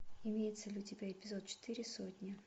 имеется ли у тебя эпизод четыре сотня